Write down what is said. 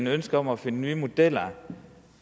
ønske om at finde nye modeller